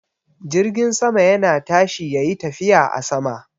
Jirgin sama yana tashi yayi tafiya a sama.